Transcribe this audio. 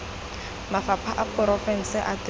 mafapha a porofense a temothuo